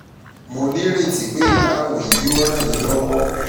mo ní ìrètí pé ìdáhùn yìí yóò ràn yín lọ́wọ́!